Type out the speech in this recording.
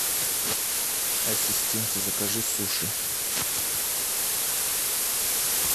ассистент закажи суши